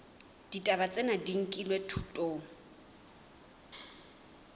ditaba tsena di nkilwe thutong